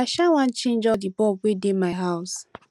i um wan change all the bulb wey dey my house